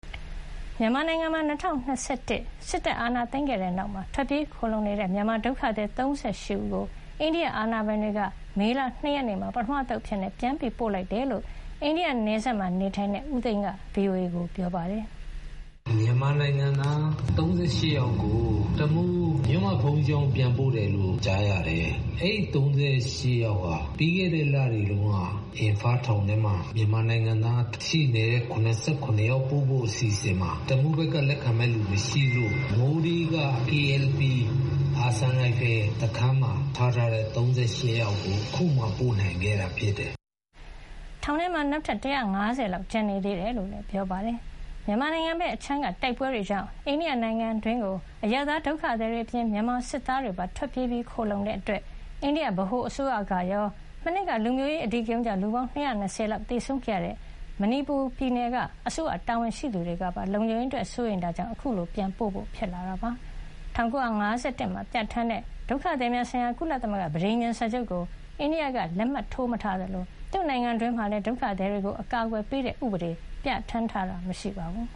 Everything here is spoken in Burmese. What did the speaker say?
မြန်မာနိုင်ငံမှာ ၂၀၂၁ စစ်တပ် အာဏာသိမ်းခဲ့တဲ့နောက် ထွက်ပြေးခိုလှုံနေတဲ့ မြန်မာဒုက္ခသည် ၃၈ ဦးကို အိန္ဒိယ အာဏာပိုင်တွေက မေလ ၂ ရက်နေ့မှာ ပထမအသုတ်အဖြစ် ပြန်ပို့လိုက်တယ်လို့ အိန္ဒိယနယ်စပ်မှာ နေထိုင်နေတဲ့ ဦးသိန်း က VOA ကိုပြောပါတယ်။ "မြန်မာနိုင်ငံသား ၃၈ ယောက်ကို တမူး မြို့မဘုန်းကြီးကျောင်းကိုပြန်ပို့လိုက်တယ်လို့ ကြားရတယ်။ အဲဒီ ၃၈ ယောက်ဟာ ပြီးခဲ့တဲ့လတွေတုန်းက အင်ဖမ်းထောင်ထဲမှာရှိနေတဲ့ မြန်မာနိုင်ငံသား ၇၇ ယောက်ပို့ဖို့ အစီအစဥ်ထဲမှာ တမူးဘက်ကလက်ခံမယ့်သူမရှိလို့ မိုးရေးက --- က...စခန်းမှာထားတဲ့ ၃၈ ယောက်ကို အခုမှ ပို့နိုင်ခဲ့တာဖြစ်တယ်။" ထောင်ထဲမှာ နောက်ထပ် ၁၅၀ လောက်ကျန်နေသေးတယ်လို့လည်း ပြောပါတယ်။ မြန်မာနိုင်ငံဘက်အခြမ်းက တိုက်ပွဲတွေကြောင့် အိန္ဒိယနိုင်ငံအတွင်း အရပ်သားဒုက္ခသည်တွေအပြင် မြန်မာစစ်သားတွေပါ ထွက်ပြေး ခိုလှုံလာခဲ့တာကြောင့် အိန္ဒိယဗဟိုအစိုးရကရော၊ မနှစ်က လူမျိုးရေး အဓိကရုန်းကြောင့် လူပေါင်း ၂၂၀ လောက်သေဆုံးခဲ့ရတဲ့ မဏိပူရပြည်နယ်ရဲ့ အစိုးရတာဝန်ရှိသူတွေကပါ လုံခြုံရေးအတွက် စိုးရိမ်လာတာကြောင့် အခုလို ပြန်ပို့ဖို့ဖြစ်လာတာပါ။ မြန်မာနိုင်ငံဘက်ကလည်း အိန္ဒိယနိုင်ငံသားတဦးကို ပြန်ပို့ပေးခဲ့တယ်လို့ ဆိုပါတယ်။ ၁၉၅၁ ခုနှစ်မှာပြဌာန်းခဲ့တဲ့ ဒုက္ခသည်များဆိုင်ရာ ကုလသမဂ္ဂ ပဋိညာဥ်စာချုပ်ကို အိန္ဒိယကလက်မှတ်ထိုး မထားသလို သူ့နိုင်ငံအတွင်းမှာလည်း ဒုက္ခသည်တွေကို အကာကွယ်ပေးတဲ့ ဥပဒေ ပြဌာန်းထားတာ မရှိပါဘူး